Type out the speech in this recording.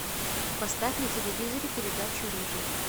поставь на телевизоре передачу рыжий